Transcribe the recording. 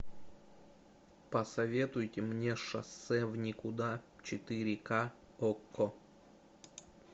посоветуйте мне шоссе в никуда четыре ка окко